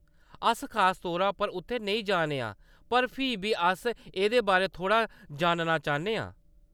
अस खास तौरै पर उत्थै नेईं जा ने आं, पर फ्ही बी अस एह्‌‌‌दे बारै थोह्‌‌‌ड़ा जानना चाह्‌न्ने आं।